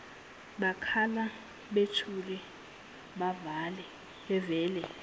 bakhala buthule bavele